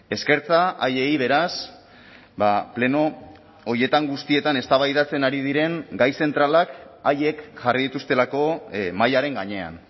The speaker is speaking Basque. eskertza haiei beraz pleno horietan guztietan eztabaidatzen ari diren gai zentralak haiek jarri dituztelako mahaiaren gainean